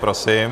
Prosím.